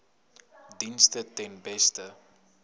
dienste ten beste